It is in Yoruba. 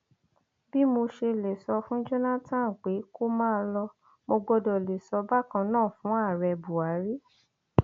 bí mo ṣe lè sọ fún jonathan pé kó máa lọ mo gbọdọ lè sọ bákan náà fún ààrẹ buhari